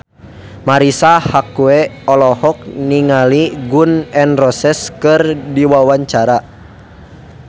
Marisa Haque olohok ningali Gun N Roses keur diwawancara